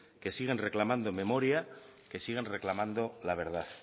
que siguen reclamando memoria que siguen reclamando la verdad